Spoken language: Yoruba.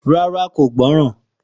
Rárá kò gbọ́ràn